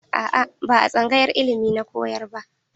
A'a, ba a tsangayar ilimi ya koyar ba.